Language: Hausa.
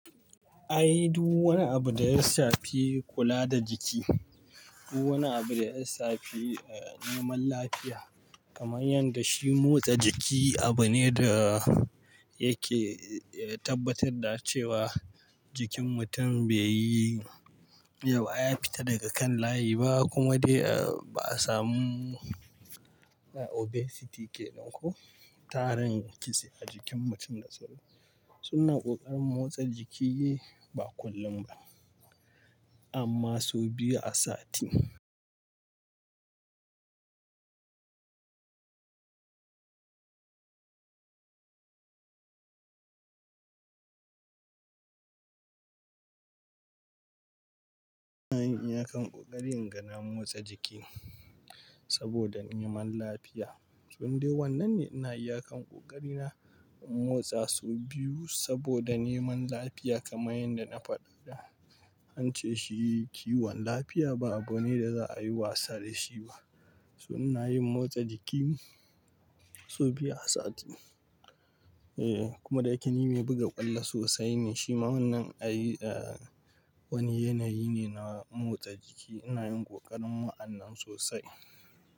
Ai duk wani abu da ya shafi kula da jiki, duk wani abu da ya safi, eh, neman lafiya kamar yadda shi motsa jiki abu ne da yake, eh, tabbatar da cewa jikin mutum bai yi yawa ya fita daga kan layi ba kuma dai ba a samu obesity ke nan ko tarin kitse a jikin mutum da sauƙi. Sunan ƙoƙarin motsa jiki ba kullum ba amma sau biyu a sati. Ina yin iyakan ƙoƙari inga na motsa jiki saboda neman lafiya. So in dai wannan ne ina iyakan ƙoƙari na motsa sau biyu saboda neman lafiya kamar yadda na faɗa da an ce shi kiwon lafiya ba abu ne da za a yi wasa da shi ba. Toh ina yin motsa jiki sau biyu a sati. Eh, kuma da yake ni mai buga ƙwallo sosai ne shima wannan ai, eh, wani yanayi ne na motsa jiki ina yin ƙoƙarin wa'anan sosai.